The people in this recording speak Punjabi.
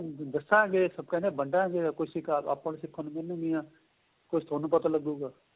ਦੱਸਾ ਅੱਗੇ ਆਪਾਂ ਨੂੰ ਸਿਖਣ ਨੂੰ ਮਿਲਣ ਗਈਆਂ ਕੁੱਛ ਤੁਹਾਨੂੰ ਪਤਾ ਲੱਗੂਗਾ